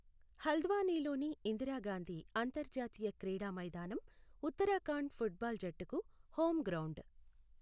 హల్ద్వానీలోని ఇందిరా గాంధీ అంతర్జాతీయ క్రీడా మైదానం ఉత్తరాఖండ్ ఫుట్ బాల్ జట్టుకు హోమ్ గ్రౌండ్.